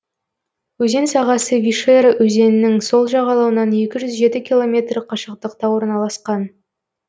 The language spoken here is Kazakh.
өзен сағасы вишера өзенінің сол жағалауынан екі жүз жеті километр қашықтықта орналасқан